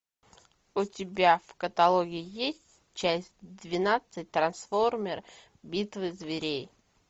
у тебя в каталоге есть часть двенадцать трансформер битва зверей